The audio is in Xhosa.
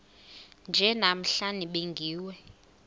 nje namhla nibingiwe